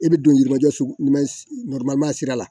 I bɛ don yirimajɔ sugu ma sira la